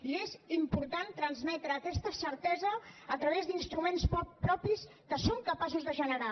i és important transmetre aquesta certesa a través d’instruments propis que som capaços de generar